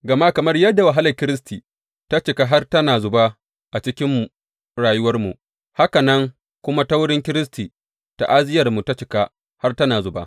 Gama kamar yadda wahalar Kiristi ta cika har tana zuba a cikin rayuwarmu, haka nan kuma ta wurin Kiristi ta’aziyyarmu ta cika har tana zuba.